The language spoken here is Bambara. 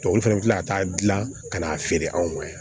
Tubabu fana bɛ tila ka taa dilan ka n'a feere anw ma yan